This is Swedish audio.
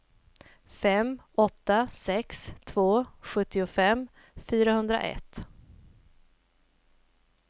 fem åtta sex två sjuttiofem fyrahundraett